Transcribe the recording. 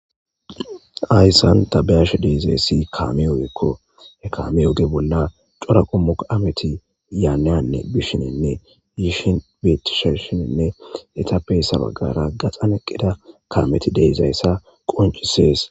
Ayssan tabeyash deizayssi kaamiyogekko he kamiyoge bolla cora qummu ameti yaaneyanne bishininne yishin betisheshinenne etabeyssa baggara gaxan eqqida kaameti deezayssa qoncisees